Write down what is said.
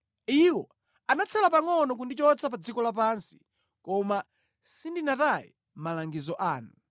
Iwo anatsala pangʼono kundichotsa pa dziko lapansi koma sindinataye malangizo anu.